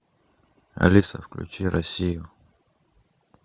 алиса включи россию